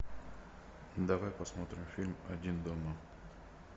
давай посмотрим фильм один дома